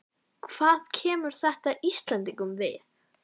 Hvað kemur þetta Íslendingum við?